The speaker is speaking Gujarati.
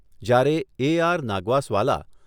જ્યારે એ આર નાગ્વસવાલા